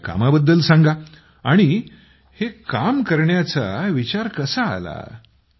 तुमच्या कामा बद्दल सांगा आणि हे काम करण्याचा विचार कसा आला